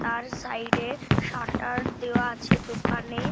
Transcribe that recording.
তার সাইড -এ শাটার দেওয়া আছে দোকানে--